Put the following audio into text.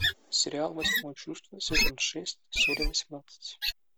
сериал восьмое чувство сезон шесть серия восемнадцать